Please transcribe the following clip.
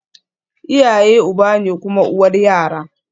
Iyaye uba ne kuma uwar yara